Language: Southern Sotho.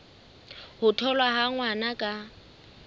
ho tholwa ha ngwana ka